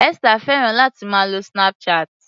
Esther fẹ́ràn láti máa lo Snapchat.